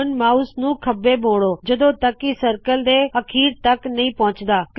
ਹੁਣ ਮਾਉਸ ਨੂੰ ਥੱਲੇ ਮੋੜੋ ਜਦੋਂ ਤਕ ਕਿ ਸਰਕਲ ਦੇ ਅਖੀਰ ਤਕ ਨਹੀ ਪਹੁੰਚਦਾ